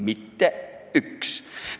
Mitte ükski!